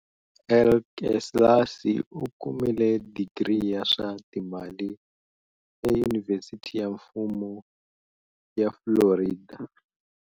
Elkeslasi u kumile digri ya swa Timali eYunivhesiti ya Mfumo ya Florida.